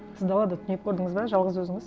сіз далада түнеп көрдіңіз бе жалғыз өзіңіз